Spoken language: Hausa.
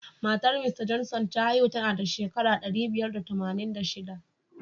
Matar Mista Johnson ta haihu tanada shekara ɗari biyar da tamanin da shiɗa.